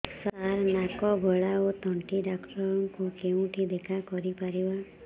ସାର ନାକ ଗଳା ଓ ତଣ୍ଟି ଡକ୍ଟର ଙ୍କୁ କେଉଁଠି ଦେଖା କରିପାରିବା